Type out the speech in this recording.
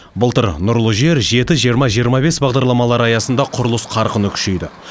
былтыр нұрлы жер жеті жиырма жиырма бес бағдарламалары аясында құрылыс қарқыны күшейді